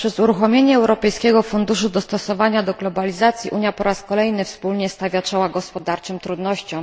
Poprzez uruchomienie Europejskiego Funduszu Dostosowania do Globalizacji Unia po raz kolejny wspólnie stawia czoła gospodarczym trudnościom.